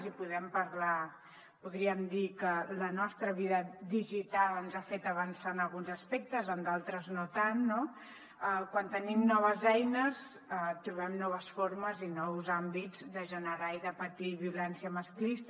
i podem parlar podríem dir que la nostra vida digital ens ha fet avançar en alguns aspectes en d’altres no tant no quan tenim noves eines trobem noves formes i nous àmbits de generar i de patir violència masclista